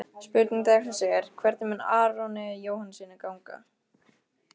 Spurning dagsins er: Hvernig mun Aroni Jóhannssyni ganga?